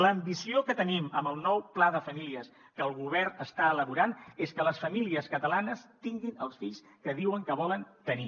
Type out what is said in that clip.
l’ambició que tenim amb el nou pla de famílies que el govern està elaborant és que les famílies catalanes tinguin els fills que diuen que volen tenir